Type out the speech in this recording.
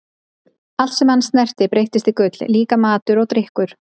Allt sem hann snerti breyttist í gull, líka matur og drykkur.